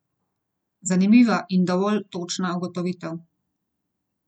Zanimiva in dovolj točna ugotovitev.